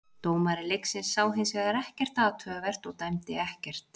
Dómari leiksins sá hins vegar ekkert athugavert og dæmdi ekkert.